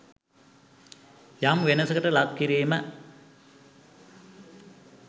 යම් වෙනසකට ලක් කිරීම